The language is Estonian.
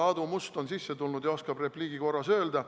Aadu Must on siia tulnud ja võib-olla oskab repliigi korras öelda.